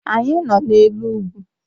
Anyị nọ n'elu ugwu